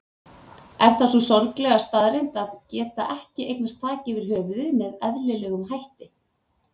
Er það sú sorglega staðreynd að geta ekki eignast þak yfir höfuðið með eðlilegum hætti?